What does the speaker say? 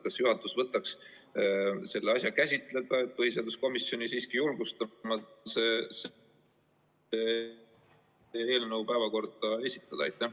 Kas juhatus võtaks selle asja käsitleda ja julgustaks põhiseaduskomisjoni seda eelnõu päevakorda esitama?